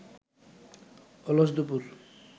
অলস দুপুর